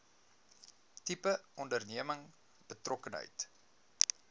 tipe onderneming betrokkenheid